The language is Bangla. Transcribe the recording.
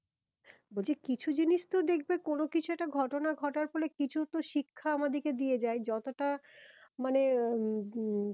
বলছি কিছু জিনিস তো দেখবে কোনো কিছু একটা ঘটনা ঘটার ফলে কিছু তো শিক্ষা আমাদের কে দিয়ে যায় যতটা মানে